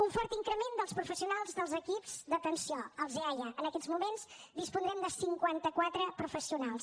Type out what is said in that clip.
un fort increment dels professionals dels equips d’atenció els eaia en aquests moments disposarem de cinquanta quatre professionals